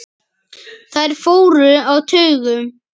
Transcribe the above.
Þeir fóru á taugum.